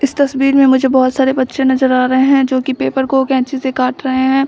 इस तस्वीर मे मुझे बहोत सारे बच्चे नजर आ रहे है जो की पेपर को केंची से काट रहे है।